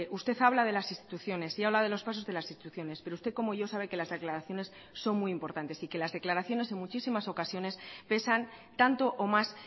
usted habla de las instituciones y habla de los pasos de las instituciones pero usted como yo sabe que las declaraciones son muy importantes y que las declaraciones en muchísimas ocasiones pesan tanto o más